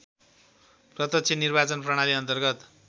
प्रत्यक्ष निर्वाचन प्रणालीअन्तर्गत